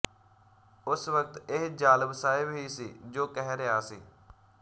ਉਸ ਵਕਤ ਇਹ ਜਾਲਬ ਸਾਹਿਬ ਹੀ ਸੀ ਜੋ ਕਹਿ ਰਿਹਾ ਸੀ